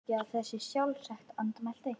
Ég sé nú ekki að það sé svo sjálfsagt- andmælti